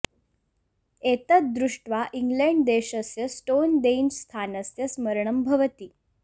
एतत् दृष्ट्वा इङ्ग्लैण्ड् देशस्य स्टोन् देञ्ज् स्थानस्य स्मरणं भवति